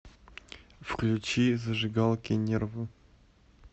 включи зажигалки нервы